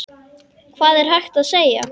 Hvað var hægt að segja?